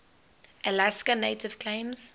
alaska native claims